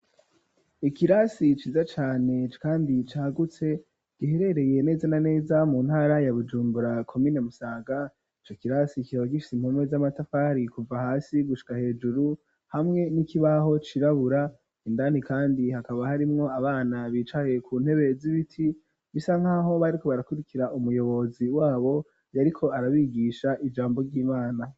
Ikirasi ciza cane kandi cagutse giherereye neza na neza mu ntara ya Bujumbura komine Musanga ico kirasi kikaba gifise impome z'amatafari kuva hasi gushika hejuru hamwe n'ikibaho cirabura indani kandi hakaba harimwo abana bicaye ku ntebe z'ibiti bisa nkaho bariko barakurikira umuyobozi wabo yariko arabigisha ijambo ry'imana.